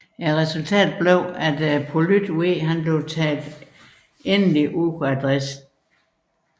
Resultatet blev at Polyt V blev taget endegyldigt ud af drift